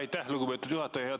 Aitäh, lugupeetud juhataja!